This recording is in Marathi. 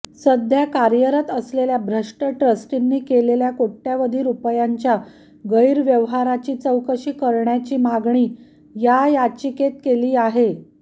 सध्या कार्यरत असलेल्या भ्रष्ट ट्रस्टींनी केलेल्या कोटय़वधी रुपयांच्या गैरव्यवहाराची चौकशी करण्याची मागणी याचिकेत केली आहे